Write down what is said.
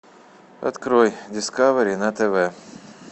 открой дискавери на тв